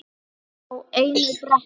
Alla á einu bretti.